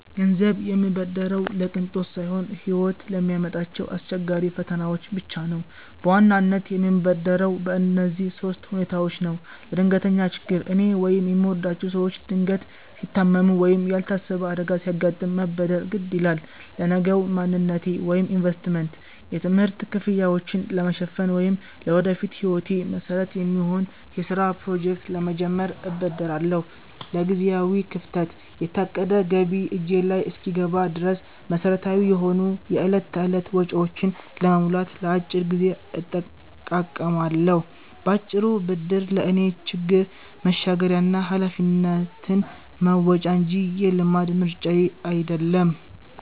ገንዘብ የምበደረው ለቅንጦት ሳይሆን ሕይወት ለሚያመጣቸው አስገዳጅ ፈተናዎች ብቻ ነው። በዋናነት የምበደረው በእነዚህ ሦስት ሁኔታዎች ነው፦ ለድንገተኛ ችግር፦ እኔ ወይም የምወዳቸው ሰዎች ድንገት ሲታመሙ ወይም ያልታሰበ አደጋ ሲያጋጥም መበደር ግድ ይላል። ለነገው ማንነቴ (ኢንቨስትመንት)፦ የትምህርት ክፍያዎችን ለመሸፈን ወይም ለወደፊት ሕይወቴ መሠረት የሚሆን የሥራ ፕሮጀክት ለመጀመር እበደራለሁ። ለጊዜያዊ ክፍተት፦ የታቀደ ገቢ እጄ ላይ እስኪገባ ድረስ፣ መሠረታዊ የሆኑ የዕለት ተዕለት ወጪዎችን ለመሙላት ለአጭር ጊዜ እጠቃቀማለሁ። ባጭሩ፤ ብድር ለእኔ ችግር መሻገሪያ እና ኃላፊነትን መወጫ እንጂ የልማድ ምርጫዬ አይደለም።